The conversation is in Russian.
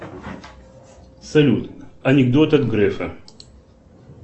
салют анекдот от грефа